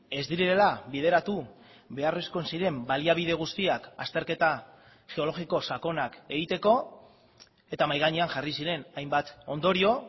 ez direla bideratu beharrezko ziren baliabide guztiak azterketa geologiko sakonak egiteko eta mahai gainean jarri ziren hainbat ondorio